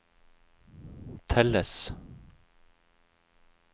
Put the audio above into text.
telles